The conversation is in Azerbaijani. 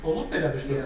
Olub belə bir söhbət?